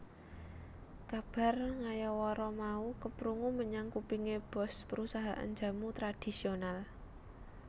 Kabar ngayawara mau keprungu menyang kupinge boss perusahaan jamu tradhisional